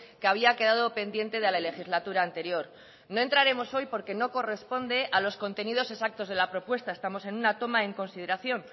que había quedado pendiente de la legislatura anterior no entraremos hoy porque no corresponde a los contenidos exactos de la propuesta estamos en una toma en consideración